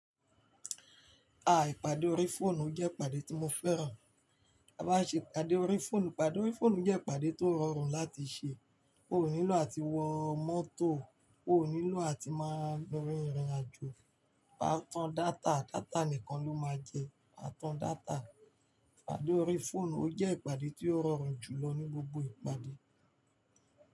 A, ìpàdé orí fóònù jẹ́ ìpàdé tí mo fẹ́ràn. Bí a bá ṣe ìpàdé orí fóònù, ìpàdé orí fóònù jẹ́ ìpàdé tó rọrùn láti ṣe. Ó ò nílò àti wọ mọ́tò, ó ò nílò àti máa lọ rin ìrìnàjò. A tàn data, data nìkan ló máa jẹ. A tàn data, ìpàdé orí fóònù ó jẹ́ ìpàdé tó rọrùn jùlọ ní gbogbo ìpàdé.